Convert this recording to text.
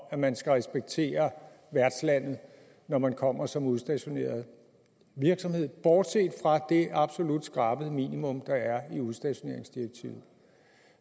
at man skal respektere værtslandet når man kommer som udstationeret virksomhed bortset fra det absolut skrabede minimum der er i udstationeringsdirektivet